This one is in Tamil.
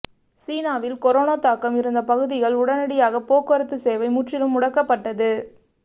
சீனாவில் கொரோனா தாக்கம் இருந்த பகுதிகள் உடனடியாக போக்குவரத்து சேவை முற்றிலும் முடக்கப்பட்டது